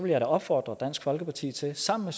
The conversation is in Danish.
jeg da opfordre dansk folkeparti til sammen